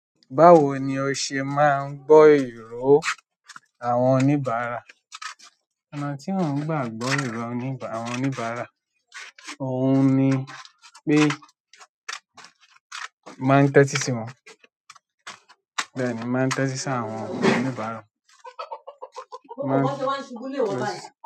Báwo ní o se máà ń gbọ iro àwọn oníbàárà? Ọ̀nà ti mo ń gbà gbọ iro àwọn oníbàárà òun ní pe mo ma n tẹti si wọn. Bẹ́ẹ̀ni, mo máà n tẹti si àwọn oníbàárà.